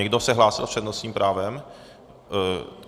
Někdo se hlásil s přednostním právem?